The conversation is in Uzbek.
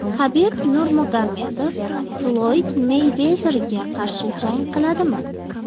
Habib Nurmagomedov Floyd Meyvezerga qarshi jang qiladimi?